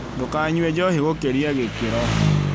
Ndũkanyue njohi gũkĩria gĩkĩro